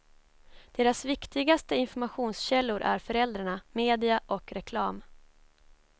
Deras viktigaste informationskällor är föräldrarna, media och reklam.